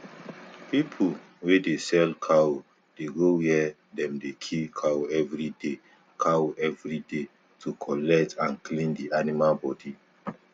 pipu wey dey sell cow dey go where dem dey kill cow everyday cow everyday to collect and clean di animal bodi